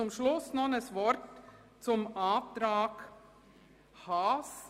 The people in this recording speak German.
Zum Schluss noch ein Wort zum Antrag Haas.